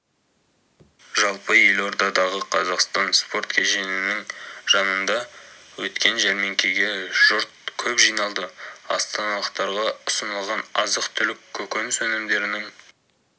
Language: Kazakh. жалпы елордадағы қазақстан спорт кешенінің жанында өткен жәрмеңкеге жұрт көп жиналды астаналықтарға ұсынылған азық-түлік көкөніс өнімдерінің